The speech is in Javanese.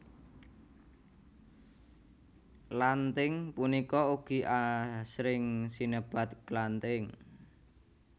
Lanthing punika ugi asring sinebat klanthing